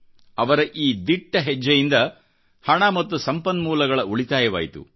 ಅವರ ಈ ದಿಟ್ಟ ಹೆಜ್ಜೆಯಿಂದ ಹಣ ಮತ್ತು ಸಂಪನ್ಮೂಲಗಳ ಉಳಿತಾಯವಾಯಿತು